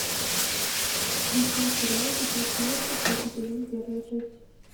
включай сериал тетрадь смерти третий сезон первая часть